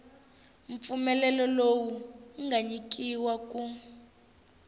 mpfumelelo lowu nga nyikiwa ku